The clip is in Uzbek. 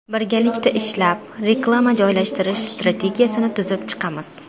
Birgalikda ishlab, reklama joylashtirish strategiyasini tuzib chiqamiz.